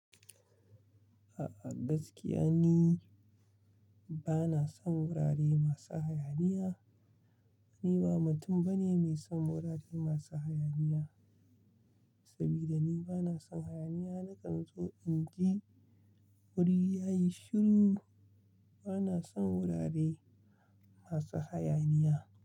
A'a gaskiya ni bana son wurare masu hayaniya. Ni ba mutum bane mai son wurare masu hayaniya, saboda ni bana son hayaniya. Nakan zo in ji wuri ya yi shiru. Bana son wurare masu hayaniya.